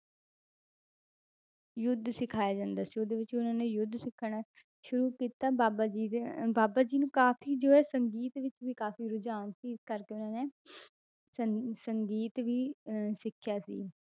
ਯੁੱਧ ਸਿਖਾਇਆ ਜਾਂਦਾ ਸੀ ਉਹਦੇ ਵਿੱਚ ਉਹਨਾਂ ਨੇ ਯੁੱਧ ਸਿੱਖਣਾ ਸ਼ੁਰੂ ਕੀਤਾ, ਬਾਬਾ ਜੀ ਦੇ ਅਹ ਬਾਬਾ ਜੀ ਨੂੰ ਕਾਫ਼ੀ ਜੋ ਹੈ ਸੰਗੀਤ ਵਿੱਚ ਵੀ ਕਾਫ਼ੀ ਰੁਝਾਨ ਸੀ ਇਸ ਕਰਕੇ ਉਹਨਾਂ ਨੇ ਸੰਗ~ ਸੰਗੀਤ ਵੀ ਅਹ ਸਿੱਖਿਆ ਸੀ।